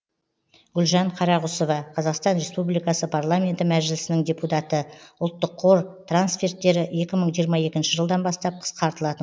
гүлжан қарағұсова қазақстан республикасы парламенті мәжілісінің депутаты ұлттық қор трансферттері екі мың жиырма екінші жылдан бастап қысқартылатын